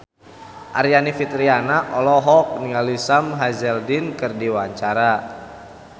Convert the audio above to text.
Aryani Fitriana olohok ningali Sam Hazeldine keur diwawancara